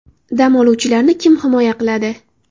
Dam oluvchilarni kim himoya qiladi?!